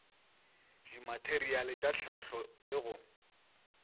dimateriale tša hlahlo le go